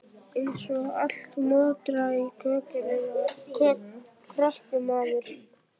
Eins og allt moraði í krökkum maður.